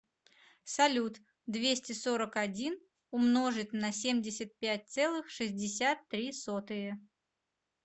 салют двести сорок один умножить на семьдесят пять целых шестьдесят три сотые